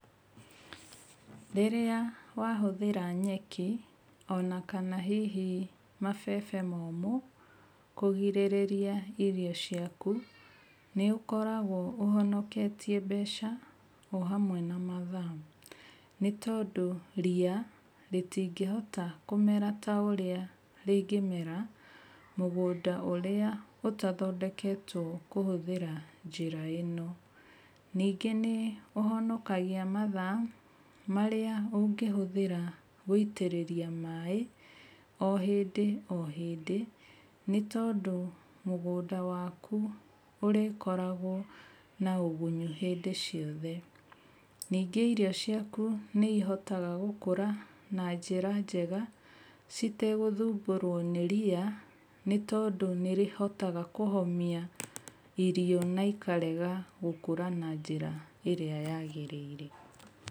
Rĩrĩa wahũthĩra nyeki onakana mabebe momũ kũgirĩrĩria irio ciaku nĩ ũkoragwo ũhonoketie mbeca o hamwe na mathaa nĩ tondũ ria rĩtingĩhota kũmera ta ũrĩa rĩngĩmera mũgũnda ũrĩa ũtathondeketwo kũhũthĩra njĩra ĩno. Ningĩ nĩ ũhonokagia mathaa marĩa ũngĩhũthĩra gũitĩrĩria maaĩ o hĩndĩ o hĩndĩ nĩ tondũ mugũnda waku ũrkoragwo na ũgunyu hĩndĩ ciothe. Ningĩ irio ciaku nĩ ihotaga gũkũra na njĩra njega citegũthumbũrwo nĩ ria nĩ toindũ nĩ rĩhotaga kũhomia irio na ikarega gũkũra na njĩra ĩria yagĩrĩire.